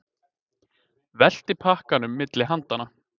Velti pakkanum milli handanna.